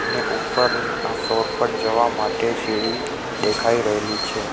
અને ઉપર આ ફ્લોર પર જવા માટે સી_ડી દેખાઈ રહેલી છે.